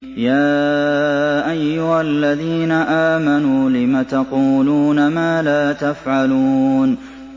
يَا أَيُّهَا الَّذِينَ آمَنُوا لِمَ تَقُولُونَ مَا لَا تَفْعَلُونَ